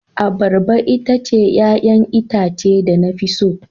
Abarba ita ce 'ya'yan itace da na fi so.